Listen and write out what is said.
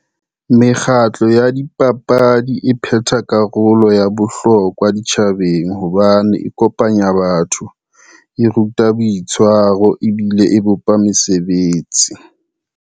Mekgatlo ya dipapadi e phetha karolo ya bohlokwa ditjhabeng hobane e kopanya batho, e ruta boitshwaro, ebile e bopa mesebetsi.